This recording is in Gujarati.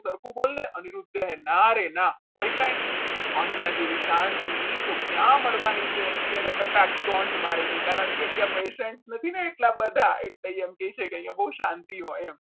સરખું બોલને અનિરુદ્ધ કહે ના રે ના હોય કંઈ અહીંયા જેવી શાંતિ તો ક્યાં મળવાની છે એટલે એને કટાક્ષ સ્ટોન્ટ મારે છે કારણકે ત્યાં પૈસા નથી ને એટલા બધા એટલે એમ કહે છે કે અહીંયા બહુ શાંતિ હોય એમ.